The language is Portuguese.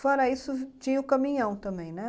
Fora isso, tinha o caminhão também, né?